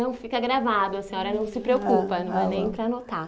Não, fica gravado, a senhora não se preocupa Ah ah bom, não é nem para anotar.